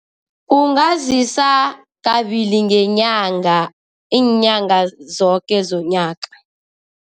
Ungazisa kabili ngenyanga, iinyanga zoke zonyaka.